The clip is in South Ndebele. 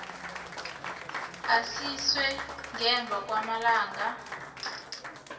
aziswe ngemva kwamalanga